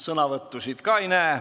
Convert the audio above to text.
Sõnavõtusoove ka ei näe.